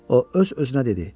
O öz-özünə dedi: